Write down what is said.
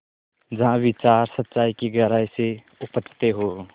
जहाँ विचार सच्चाई की गहराई से उपजतें हों